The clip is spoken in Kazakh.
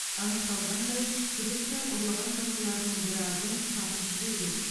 анықталғандай күдікті ұрлаған жылқыларының біразын сатып жіберген